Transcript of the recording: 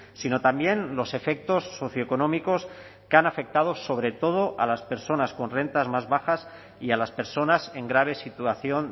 sino también los efectos socioeconómicos que han afectado sobre todo a las personas con rentas más bajas y a las personas en grave situación